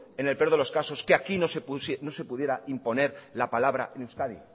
en el peor de los casos que aquí no se pudiere imponer la palabra en euskadi